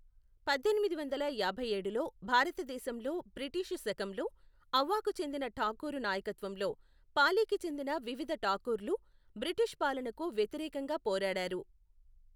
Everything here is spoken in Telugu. పద్దెనిమిది వందల యాభైఏడులో భారతదేశంలో బ్రిటీషు శకంలో ఔవాకు చెందిన ఠాకూరు నాయకత్వంలో పాలీకి చెందిన వివిధ ఠాకూర్లు బ్రిటిషు పాలనకు వ్యతిరేకంగా పోరాడారు.